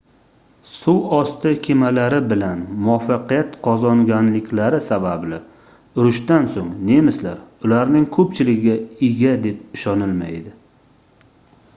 suvosti kemalari bilan muvaffaqiyat qozonganliklari sababli urushdan soʻng nemislar ularning koʻpchiligiga ega deb ishonilmaydi